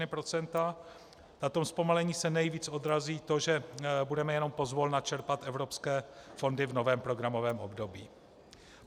Na tom zpomalení se nejvíc odrazí to, že budeme jenom pozvolna čerpat evropské fondy v novém programovém období.